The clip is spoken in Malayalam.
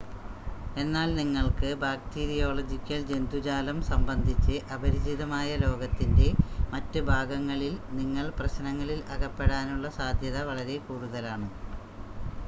എന്നാൽ നിങ്ങൾക്ക് ബാക്ടീരിയോളജിക്കൽ ജന്തുജാലം സംബന്ധിച്ച് അപരിചിതമായ ലോകത്തിൻ്റെ മറ്റ് ഭാഗങ്ങളിൽ നിങ്ങൾ പ്രശ്‌നങ്ങളിൽ അകപ്പെടാനുള്ള സാധ്യത വളരെ കൂടുതലാണ്